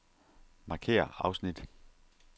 Markér afsnit.